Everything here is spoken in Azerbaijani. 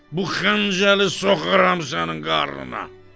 Bu xəncəli soxaram sənin qarnına.